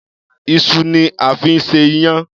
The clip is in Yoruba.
Iṣu ni a fi ń ṣe iyán.